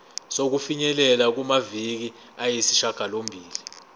sokufinyelela kumaviki ayisishagalombili